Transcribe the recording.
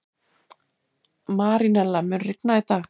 Marínella, mun rigna í dag?